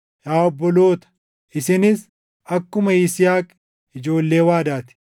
Yaa obboloota, isinis akkuma Yisihaaq ijoollee waadaa ti.